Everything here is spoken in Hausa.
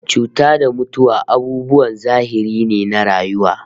Cuta da mutuwa abubuwan zahiri ne na rayuwa